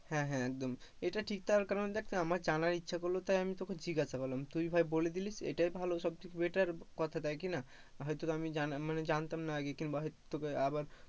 হ্যাঁ, হ্যাঁ, একদম, এটা ঠিক তার কারণ দেখ আমার জানার ইচ্ছা করলো তাই আমি জিজ্ঞাসা করলাম তুই ভাই বলে দিলিস, এটাই ভালো সবথেকে better কথা তাই কি না, হয়তো আমি মানে জানতাম না আর কি কিংবা হয়তো তোকে আবার,